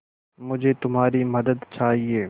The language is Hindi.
मुझे तुम्हारी मदद चाहिये